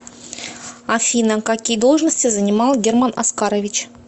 афина какие должности занимал герман оскарович